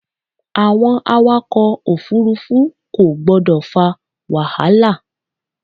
Àwọn awakọ̀ òfúrúfú kò gbọ́dọ̀ fa wàhálà.